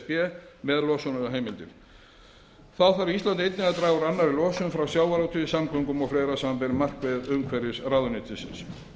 s b með losunarheimildir þá þarf ísland einnig að draga úr annarri losun frá sjávarútvegi samgöngum og fleira samanber markmið umhverfisráðuneytisins